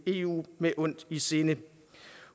eu med ondt i sinde